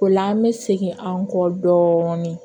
O la an bɛ segin an kɔ dɔɔnin